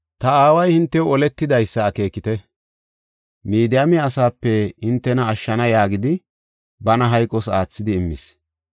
Ta aaway hintew oletidaysa akeekite; Midiyaame asaape hintena ashshana yaagidi, bana hayqos aathidi immis.